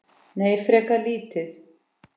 Nei, frekar lítið.